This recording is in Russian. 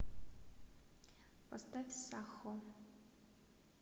поставь сахо